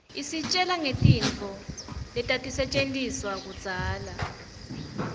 isitjela ngetintfo letatisetjentiswa kudzala